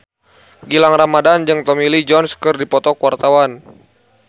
Gilang Ramadan jeung Tommy Lee Jones keur dipoto ku wartawan